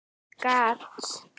Mikið gat